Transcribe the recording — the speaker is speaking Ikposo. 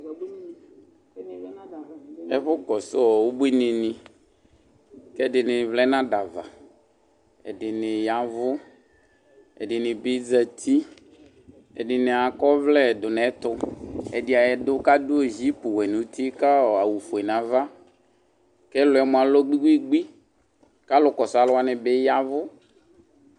Ɛfʋkɔsʋ ɔ ubuinɩnɩ kʋ ɛdɩnɩ vlɛ nʋ ada ava. Ɛdɩnɩ ya ɛvʋ, ɛdɩnɩ bɩ zati, ɛdɩnɩ akɔ ɔvlɛ dʋ nʋ ɛtʋ. Ɛdɩ a adʋ kʋ adʋ zipuwɛ nʋ uti kʋ ɔ awʋfue nʋ ava kʋ ɛlʋ yɛ mʋa, alɔ gbi-gbi-gbi kʋ alʋkɔsʋ alʋ wanɩ bɩ ya ɛvʋ.